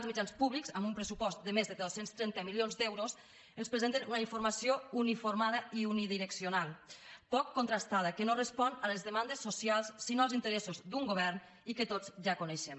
els mitjans públics amb un pressupost de més de dos cents i trenta milions d’euros ens presenten una informació uniformada i unidireccional poc contrastada que no respon a les demandes socials sinó als interessos d’un govern i que tots ja coneixem